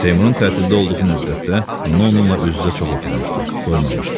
Seymurun təhsildə olduğu müddətdə ana onunla üz-üzə çox oturmuşdu, doymamışdı.